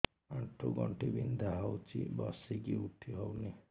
ଆଣ୍ଠୁ ଗଣ୍ଠି ବିନ୍ଧା ହଉଚି ବସିକି ଉଠି ହଉନି